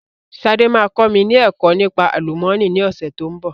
Sade máa kọ́ mi ni ẹ̀kọ́ nípa àlùmọ́nì ni ọ̀sẹ̀ tó ń bọ̀